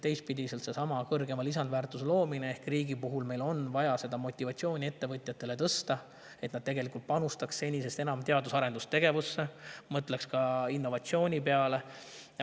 Teistpidi on seesama kõrgema lisandväärtuse loomise ehk riigil on vaja tõsta ettevõtjate motivatsiooni, et nad panustaks senisest enam teadus‑ ja arendustegevusse, mõtleks ka innovatsiooni peale.